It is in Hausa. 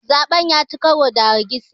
zaɓen ya ci karo da hargitsi